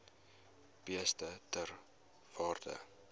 beeste ter waarde